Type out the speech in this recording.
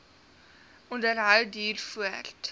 onderhou duur voort